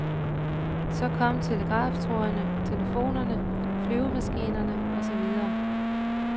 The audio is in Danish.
Så kom telegraftrådene, telefonerne, flyvemaskinerne og så videre.